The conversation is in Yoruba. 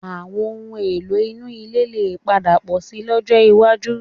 Àwọn ohun-èlò inú ilé lè padà pọ̀ síi lọ́jọ́ iwájú